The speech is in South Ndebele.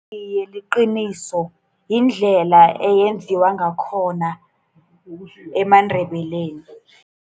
Iye, liqiniso. Yindlela eyenziwa ngakhona emaNdebeleni.